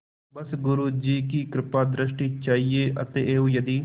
बस गुरु जी की कृपादृष्टि चाहिए अतएव यदि